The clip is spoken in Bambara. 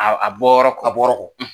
A bɔyɔrɔ kɔ.